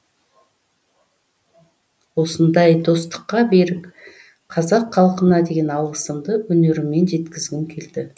осындай достыққа берік қазақ халқына деген алғысымды өнеріммен жеткізгім келді